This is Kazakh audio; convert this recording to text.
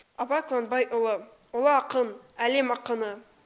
абай құнанбайұлы ұлы ақын әлем ақыны